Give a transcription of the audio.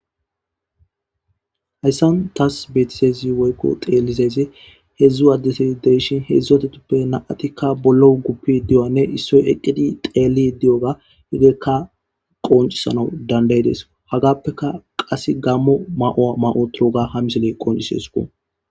hayssan taas beetisezi woykko teellizeyze hedzdzu addesai deshin hedzdzatetuppe na7atikka bollo guppi di7oanne issoy eqqidi teelli di7oga higeekka qoncisana dandaydes hagappeka qas gammo ma7oa ma7o toroga ha misile qoncisi esuku